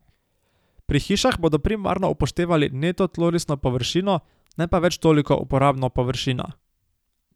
Pri hišah bodo primarno upoštevali neto tlorisno površino, ne pa več toliko uporabno površina.